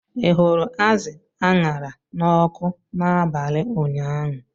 Ị hụrụ azụ a ṅara n'ọkụ n'abalị ụnyaahụ?